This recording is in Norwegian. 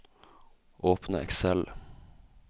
Åpne Excel